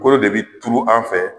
Kolo de bi turu an fɛ.